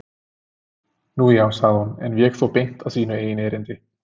Nú, já- sagði hún en vék þó beint að sínu eigin erindi.